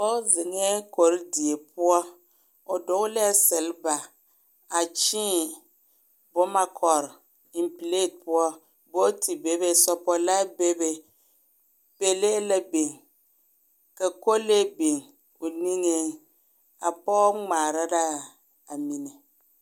Pɔg zeŋɛɛ korodie poɔ, o dogelɛɛ selba, a kyẽẽ, boma kɔr, eŋ pileti poɔ booti bebe sɔpɔlaa bebe, pele la biŋ, ka kolee biŋ o niŋeŋ. A pɔg ŋmaara raa a mine.